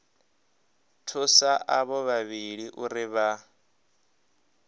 thusa avho vhavhili uri vha